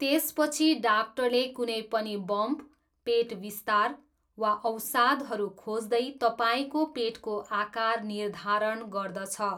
त्यसपछि डाक्टरले कुनै पनि बम्प, पेट विस्तार, वा अवसादहरू खोज्दै तपाईँको पेटको आकार निर्धारण गर्दछ।